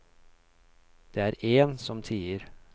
Det er én som tier.